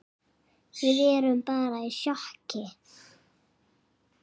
Við erum bara í sjokki.